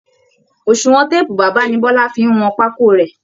Òṣùwọn téèpù bàbá ni bọ́lá fi ń wọn pákó rẹ̀